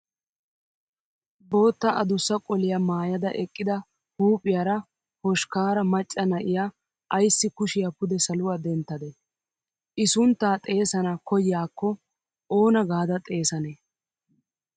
Bootta adussa qoliyaa maayyada eqqida huuphphiyaara hoshkkaara macca na'iyaa ayissi kushshiyaa pude saluwaa denttadee? I sunnttaa xeesana kayyiyaakko oona gaada xeesanee?